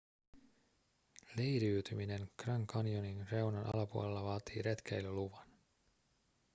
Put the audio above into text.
leiriytyminen grand canyonin reunan alapuolella vaatii retkeilyluvan